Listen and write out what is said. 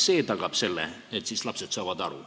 See tagaks selle, et lapsed saavad aru.